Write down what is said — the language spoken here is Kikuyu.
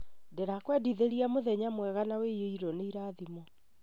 Ndĩrakwendithĩria mũthenya mwega na ũihũirwo nĩ irathimo